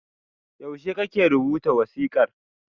Yaushe kake rubuta wasiƙar?